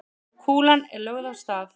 Kúlan er lögð af stað.